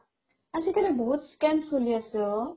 আজিকালি বহুত scam চলি আছে ঔ